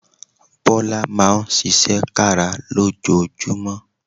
Bọ́lá Máa ń ṣiṣẹ́ kára lójoojúmọ́